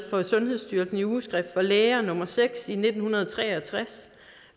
sundhedsstyrelse i ugeskrift for læger nummer seks nitten tre og tres